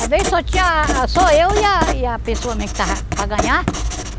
Às vezes só tinha só eu e a e a pessoa mesmo que estava para ganhar.